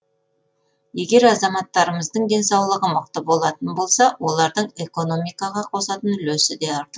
егер азаматтарымыздың денсаулығы мықты болатын болса олардың экономикаға қосатын үлесі де артады